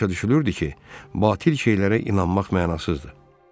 Belə başa düşülürdü ki, batil şeylərə inanmaq mənasızdır.